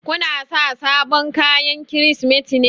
Ku na sa sabon kayan Kirsimeti ne?